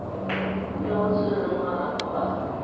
yo o tshwereng marapo a